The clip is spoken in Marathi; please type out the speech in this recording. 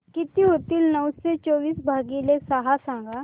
किती होईल नऊशे चोवीस भागीले सहा सांगा